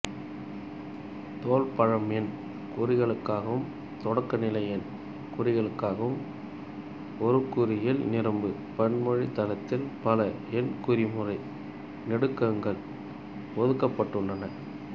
தொல்பழம் எண்குறிகளுக்காகவும் தொடக்கநிலை எண்குறிகளுக்காகவும் ஒருங்குறியில் நிரப்பு பன்மொழித் தளத்தில் பல எண்குறிமுறை நெடுக்கங்கள் ஒதுக்கப்பட்டுள்ளன